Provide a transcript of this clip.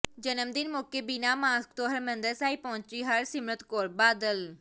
ਜਨਮ ਦਿਨ ਮੌਕੇ ਬਿਨਾਂ ਮਾਸਕ ਤੋਂ ਹਰਮੰਦਿਰ ਸਾਹਿਬ ਪਹੁੰਚੀ ਹਰਸਿਮਰਤ ਕੌਰ ਬਾਦਲ